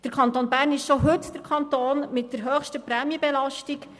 Der Kanton Bern ist schon heute der Kanton mit der höchsten Prämienbelastung.